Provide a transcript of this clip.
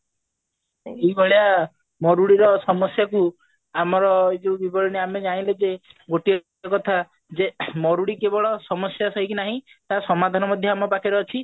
ଏଇଭଳିଆ ମରୁଡ଼ିର ସମସ୍ଯା କୁ ଯୋଉ ଆମେ ଜାଣିଲେ ଯେ ଗୋଟିଏ କଥା ଯେ ମରୁଡି କେବଳ ସମସ୍ଯା ଥାଇକି ନାହିଁ ତା ସମାଧାନ ମଧ୍ୟ ଆମ ପାଖରେ ଅଛି